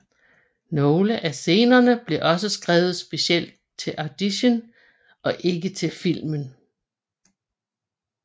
Nogle af scenerne blev også skrevet specifikt til audition og ikke til filmen